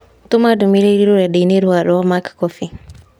Tũma ndũmĩrĩri rũrenda-inī rũa rwa mac coffee